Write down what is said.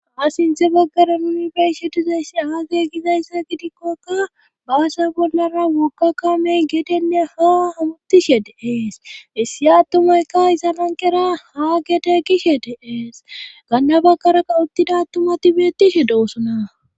a sinte baggara numi beshe dizayssi aage gizayssa gidikkoka baase bollara wokka kamey gedenne ha hawuttishe deees issi attumayka izanankera haa gede kishe deeees gannabaggarakka uttida ttumati beettishe doosona